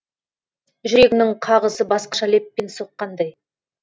жүрегімнің қағысы басқаша леппен соққандай